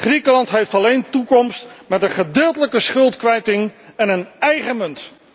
Griekenland heeft alleen toekomst met een gedeeltelijke schuldkwijting en een eigen munt.